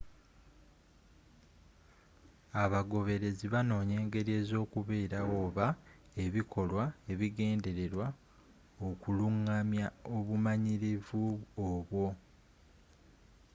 abagoberezi banonya engeri ezokuberawo oba ebikolwa ebigendererwa okulungamya obumanyirivu obwo